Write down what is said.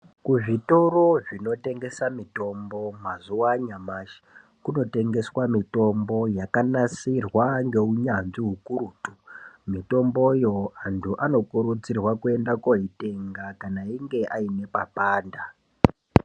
Kuzvitoro zvinotengesa mitombo mazuwa anyamashi, kunotengeswa mitombo yakanasirwa ngeunyanzvi ukurutu. Mitomboyo antu anokurudzirwa kuenda koitenga, kana achinge aine papanda